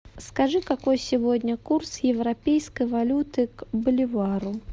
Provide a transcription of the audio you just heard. скажи какой сегодня курс европейской валюты к боливару